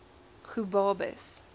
gobabis